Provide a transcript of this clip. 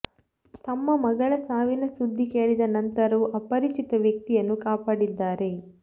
ತಮ್ಮ ಮಗಳ ಸಾವಿನ ಸುದ್ದಿ ಕೇಳಿದ ನಂತರವೂ ಅಪರಿಚಿತ ವ್ಯಕ್ತಿಯನ್ನು ಕಾಪಾಡಿದ್ದಾರೆ